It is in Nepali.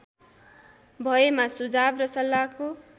भएमा सुझाव र सल्लाहको